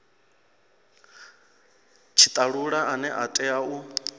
tshitalula ane a tea u